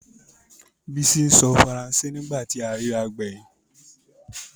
Bísí ń sọ Faransé ní ìgbà tí a rírà gbẹ̀yìn